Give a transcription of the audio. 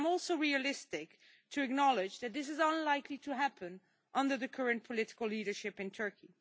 But I am also realistic and acknowledge that this is unlikely to happen under the current political leadership in Turkey.